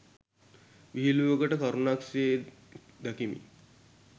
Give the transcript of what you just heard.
විහිළුවකට කරුණක් සේ දකිමි